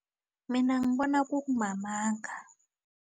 Mina ngibona kumamanga.